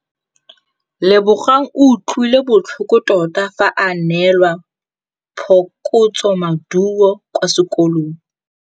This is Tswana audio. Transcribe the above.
Lebogang o utlwile botlhoko tota fa a neelwa phokotsômaduô kwa sekolong.